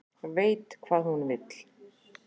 Veit hvað hún vill